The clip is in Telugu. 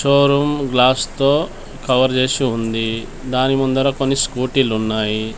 షో రూమ్ గ్లాస్ తో కవర్ జేసి ఉంది దాని ముందర కొన్ని స్కూటీలున్నాయి .